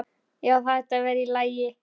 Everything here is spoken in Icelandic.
Já, það ætti að vera í lagi.